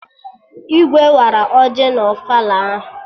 Igwe wara ọjị na ofala ahụ